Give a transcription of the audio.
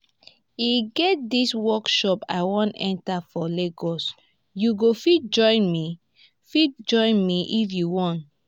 e get dis workshop i wan enter for lagos you go fit join me fit join me if you want